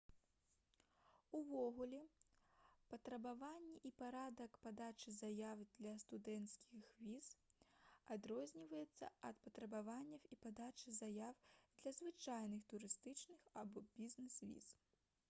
увогуле патрабаванні і парадак падачы заяў для студэнцкіх віз адрозніваюцца ад патрабаванняў і падачы заяў для звычайных турыстычных або бізнес-віз